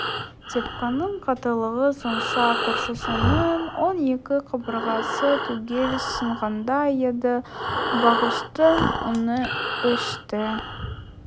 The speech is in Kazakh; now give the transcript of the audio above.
тепкінің қаттылығы сонша көршісінің он екі қабырғасы түгел сынғандай еді байғұстың үні өшті